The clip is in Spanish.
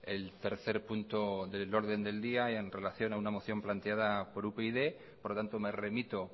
el tercer punto del orden del día y en relación a una moción planteada por upyd por lo tanto me remito